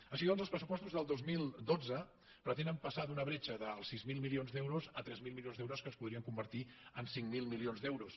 així doncs els pressupostos del dos mil dotze pretenen passar d’una bretxa dels sis mil milions d’euros a tres mil milions d’euros que es podrien convertir en cinc mil milions d’euros